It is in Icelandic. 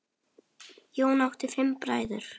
Jón átti fimm bræður.